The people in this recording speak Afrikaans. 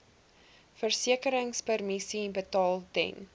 versekeringspremies betaal ten